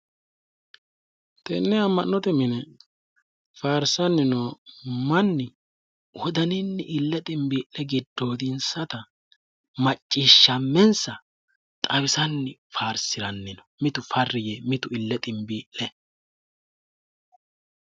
Tenne amma'note mine faarssanni noo manni wodaninni ille xinbbii'le giddoodinsata macciishshammenssa xawisanni faarsiranni no mitu farri yee mitu ille xinbii'le